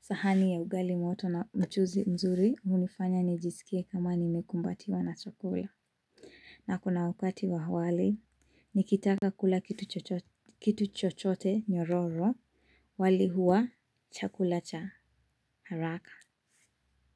sahani ya ugali moto na mchuzi mzuri, hunifanya nijisikie kama nimekumbatiwa na chakula. Na kuna wakati wa wali, nikitaka kula kitu chochote nyororo, wali huwa chakula cha haraka.